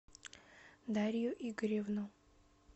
дарью игоревну